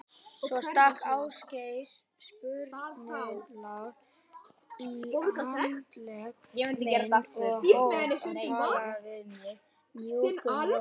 Svo stakk Ásgeir sprautunál í handlegg minn og hóf að tala við mig mjúkum rómi.